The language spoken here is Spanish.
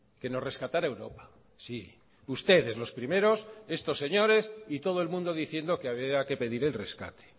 que nos rescatará europa sí ustedes los primeros estos señores y todo el mundo diciendo que había que pedir el rescate